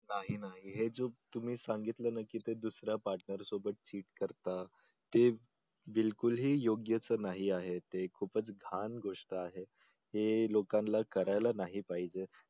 नाही नाही हे चूक तुम्ही सांगितलं ना ते दुसऱ्या partner सोबत cheat करतात ते बिल्कुलही योग्य नाही आहे ते खूपच घाण गोष्ट आहे हे लोकांना करायला नाही पाहिजे